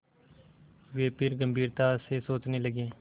वे फिर गम्भीरता से सोचने लगे